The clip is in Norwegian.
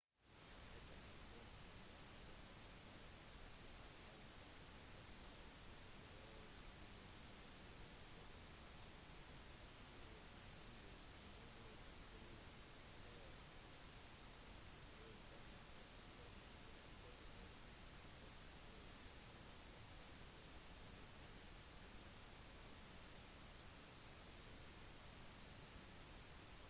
dette er første gang en dom er avsagt etter lovgivningen vedtatt i 2003 for å demme opp for masse-e-poster også kjent som søppelpost som har blitt sendt uoppfordret til brukernes innboks